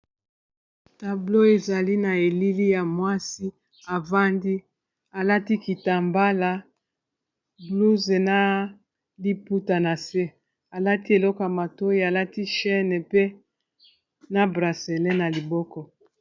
Tablo ezali na elili ya mwasi avandi alati kitambala blouze na liputa na se, alati eleko matoyi alati chaine pe na braselle na liboko.